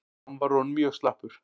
Hann var orðinn mjög slappur.